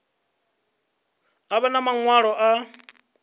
a vha na maṅwalo a